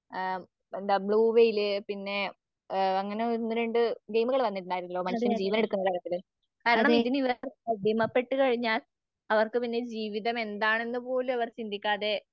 ആം blue whale പിന്നേ ആ അങ്ങനെ ഒന്നുരണ്ട് ഗെയിമുകള് പറഞ്ഞിട്ടുണ്ടാരുന്നല്ലൊ മനുഷ്യന് ജീവനെടുക്കുന്ന തരത്തില്. കാരണം ഇതിന് ഇവര് അടിമപ്പെട്ടുകഴിഞ്ഞാൽ അവർക്ക് പിന്നെ ജീവിതമെന്താണെന്ന് പോള് അവർ